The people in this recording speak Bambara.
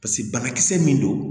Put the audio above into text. Paseke banakisɛ min don